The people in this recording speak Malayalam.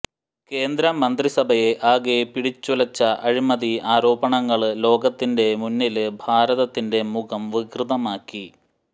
കേന്ദ്രമന്ത്രിസഭയെ ആകെ പിടിച്ചുലച്ച അഴിമതി ആരോപണങ്ങള് ലോകത്തിന്റെ മുന്നില് ഭാരതത്തിന്റെ മുഖം വികൃതമാക്കി